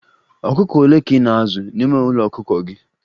ọkụkọ ole ka ị na-azụ n'ime ụlọ ọkụkọ gị?